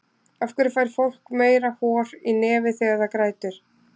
af hverju fær fólk meira hor í nefið þegar það grætur